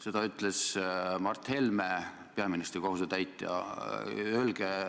" Seda ütles Mart Helme, peaministri kohusetäitja.